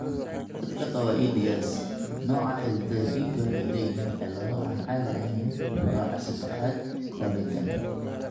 Dadka qaba EDS, nooca xididdada dhiigga waxay leeyihiin cillado aan caadi ahayn nooca sedexad collagen.